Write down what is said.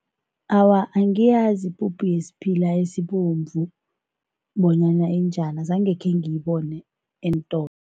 Awa, angiyazi ipuphu yesiphila esibomvu bonyana injani, azange khengiyibone eentolo.